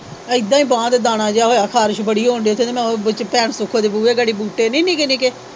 ਇਹਦਾ ਈ ਬਾਹ ਤੇ ਦਾਣਾ ਜਿਹਾ ਹੋਇਆ ਖਾਰਿਸ਼ ਬੜੀ ਹੋਣ ਦੀ ਉੱਥੇ ਤੇ ਮੈ ਭੈਣ ਸੁਖੋ ਦੇ ਬੂਹੇ ਗਾੜੀ ਬੂਟੇ ਨਹੀਂ ਨਿੱਕੇ ਨਿੱਕੇ।